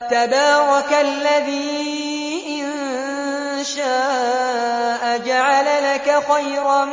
تَبَارَكَ الَّذِي إِن شَاءَ جَعَلَ لَكَ خَيْرًا